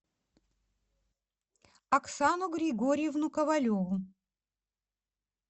оксану григорьевну ковалеву